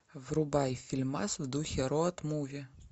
врубай фильмас в духе роад муви